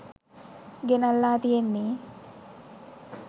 ගෙනල්ලා තියෙන්නේ